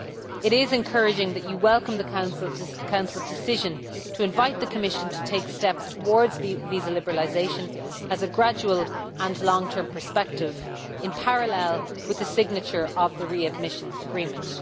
It is encouraging that you welcome the Council's decision to invite the Commission to take steps towards visa liberalisation as a gradual and long term perspective, in parallel with the signature of the readmission agreement.